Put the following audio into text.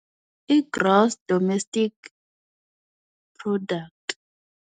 I gross domestic product.